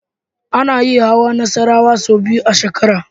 Ana yin hawan Nassarawa sau biyu a shekara.